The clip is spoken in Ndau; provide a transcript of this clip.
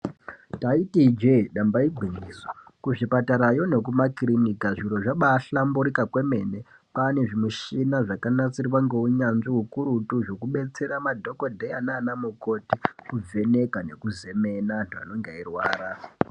Taiti Ije damba igwinyiso kuzvipatarayo nekumakiriniki zviro zvabahlamburuka kwemene kwane zvimushini zvakanasirwa neunyanzvi ukurutu zvekudetsera madhokodheya nana mukoti kuvheneka nekuzemena panenge peirwara.